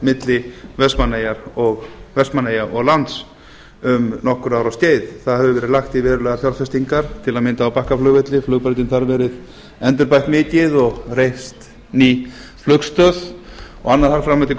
milli vestmannaeyja og lands um nokkurra ára skeið það hefur verið lagt í verulegar fjárfestingar til að mynda á bakkaflugvelli flugbrautin þar verið endurbætt mikið og reist ný flugstöð og annað þar fram eftir